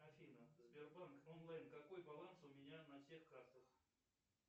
афина сбербанк онлайн какой баланс у меня на всех картах